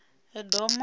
edomo